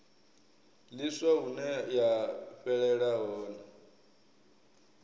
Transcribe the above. ḽiswa hune ya fhelela hone